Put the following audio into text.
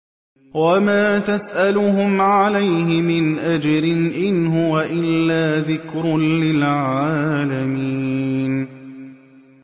وَمَا تَسْأَلُهُمْ عَلَيْهِ مِنْ أَجْرٍ ۚ إِنْ هُوَ إِلَّا ذِكْرٌ لِّلْعَالَمِينَ